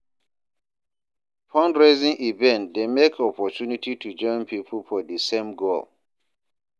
Fundraising events dey mek opportunity to join pipo for di same goal.